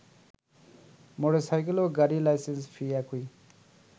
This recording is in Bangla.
মোটরসাইকেলও গাড়ির লাইসেন্স ফি একই